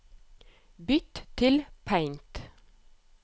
Bytt til Paint